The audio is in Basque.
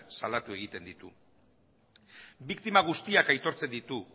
salatu egiten ditu biktima guztiak aitortzen ditu